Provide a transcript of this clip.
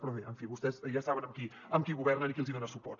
però bé en fi vostès ja saben amb qui governen i qui els hi dona suport